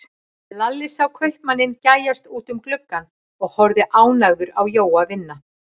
Lalli sá kaupmanninn gægjast út um gluggann og horfa ánægður á Jóa vinna.